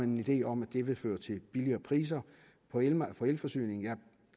en idé om at det vil føre til billigere priser på elforsyningen jeg